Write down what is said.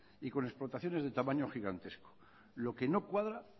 y con explotaciones de tamaño gigantesco lo que no cuadra